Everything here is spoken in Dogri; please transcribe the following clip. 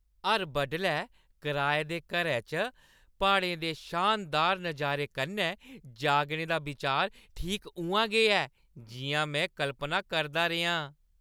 हर बडलै कराए दे घरै च प्हाड़ें दे शानदार नजारे कन्नै जागने दा बिचार ठीक उʼआं गै ऐ जिʼयां में कल्पना करदा रेहा आं।